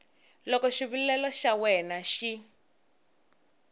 loko xivilelo xa wena xi